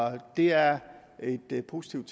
det er et positivt